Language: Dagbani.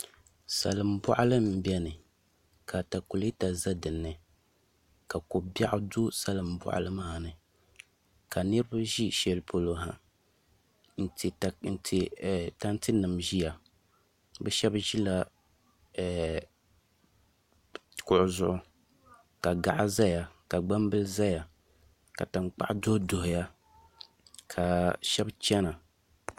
Salin boɣali n biɛni ka atakulɛta bɛ dinnI ka ko biɛɣu bɛ salin boɣali maa ni ka niraba ʒi shɛli polo ha n ti tanti nim ʒiya bi shab ʒila kuɣu zuɣu ka gaɣa ʒɛya ka gbambili ʒɛya ka tankpaɣu duɣuduɣu ya ka shab chɛna